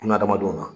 Buna adamadenw ma